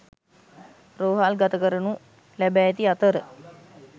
රෝහල් ගත කරනු ලැබ ඇති අතර